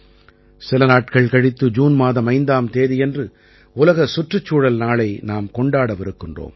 சில நாட்கள் கழித்து ஜூன் மாதம் 5ஆம் தேதியன்று உலக சுற்றுச் சூழல் நாளை நாம் கொண்டாடவிருக்கிறோம்